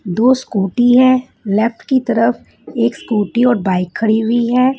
दो स्कूटी हैं लेफ्ट की तरफ एक स्कूटी और बाइक खड़ी हुई है।